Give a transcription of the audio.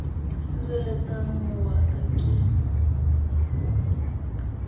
sirelletsa o wa ka ke